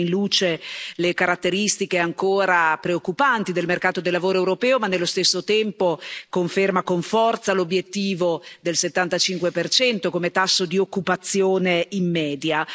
Mette in luce le caratteristiche ancora preoccupanti del mercato del lavoro europeo, ma nello stesso tempo conferma con forza l'obiettivo del 75 come tasso di occupazione in media.